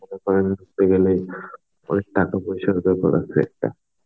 গেলেই অনেক টাকা পয়সার দরকার আছে একটা